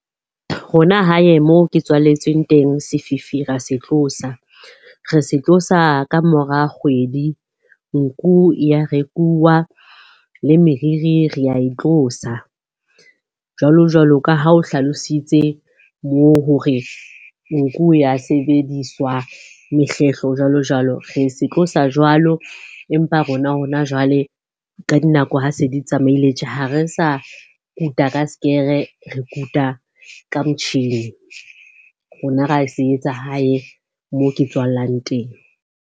Rona hae moo ke tswaletsweng teng, sefifi ra se tlosa. Re se tlosa ka mora kgwedi. Nku ya rekuwa le meriri re ya e tlosa. Jwalo-jwalo ka ha o hlalositse moo hore nku o ya sebediswa mehlehlo jwalo-jwalo. Re se tlosa jwalo, empa rona hona jwale ka dinako ha se di tsamaile tje ha re sa kuta ka sekere, re kuta ka motjhini. Rona ra se etsa hae, moo ke tswallang teng.